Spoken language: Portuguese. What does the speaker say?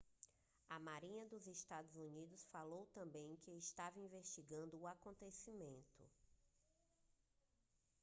a marinha dos estados unidos falou também que estava investigando o acontecimento